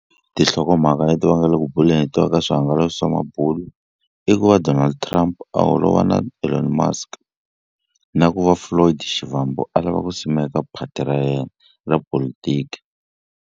Tinhlokomhaka leti va nga le ku buleni hi tona ka swihangalasi swa mabulu i ku va Donald Trump a holova na Ellon Musk na ku va Floyd Shivambu a lava ku simeka phati ra yena ra polotiki.